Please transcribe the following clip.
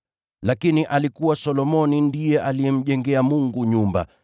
Lakini alikuwa Solomoni ndiye alimjengea Mungu nyumba.